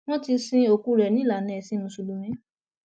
wọn ti sin òkú rẹ ní ìlànà ẹsìn mùsùlùmí